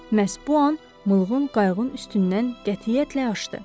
Məhz bu an mulğun qayıqın üstündən qətiyyətlə aşdı.